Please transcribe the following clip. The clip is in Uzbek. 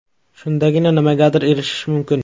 Shundagina nimagadir erishish mumkin.